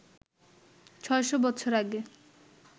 ৬০০ বছর আগে